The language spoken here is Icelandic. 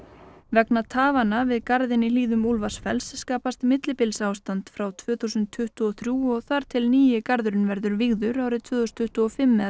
vegna tafanna við garðinn í hlíðum Úlfarsfells skapast millibilsástand frá tvö þúsund tuttugu og þrjú og þar til nýi garðurinn verður vígður árið tvö þúsund tuttugu og fimm eða